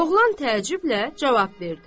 Oğlan təəccüblə cavab verdi.